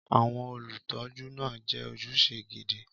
Àwọn olùtọ́jú náà jẹ́ ojúṣe gidi.